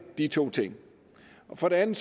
de to ting for det andet